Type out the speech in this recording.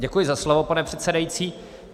Děkuji za slovo, pane předsedající.